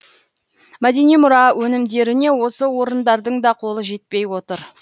мәдени мұра өнімдеріне осы орындардың да қолы жетпей отыр